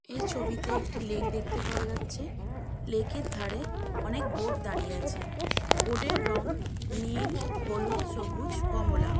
এই ছবিতে একটি লেক দেখতে পাওয়া যাচ্ছে | লেকের ধারে অনেক বোট দাঁড়িয়ে আছে। বোট -এর রং নীল হলুদ সবুজ কমলা |